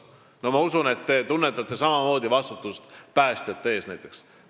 No ma usun, et te tunnetate samamoodi vastutust päästjate ees näiteks.